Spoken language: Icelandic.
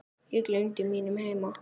Ég gleymdi mínum heima